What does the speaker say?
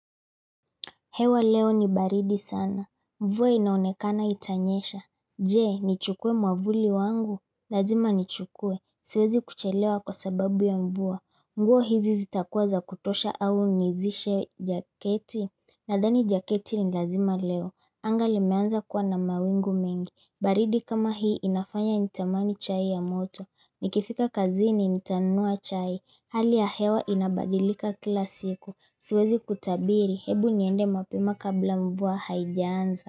Hewa leo ni baridi sana, mvua inaonekana itanyesha Jee, nichukuwe mwavuli wangu, lazima nichukuwe, siwezi kuchelewa kwa sababu ya mvua, nguo hizi zitakuwa za kutosha au nizishe jaketi Nadhani jaketi ni lazima leo, angali meanza kuwa na mawingu mengi, baridi kama hii inafanya nitamani chai ya moto Nikifika kazi ni nitanunua chai. Hali ya hewa inabadilika kila siku. Siwezi kutabiri hebu niende mapema kabla mvua haijaanza.